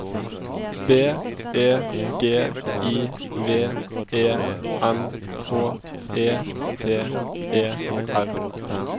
B E G I V E N H E T E R